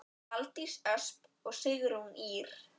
Valdís Ösp og Sigrún Ýr.